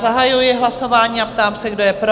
Zahajuji hlasování a ptám se, kdo je pro?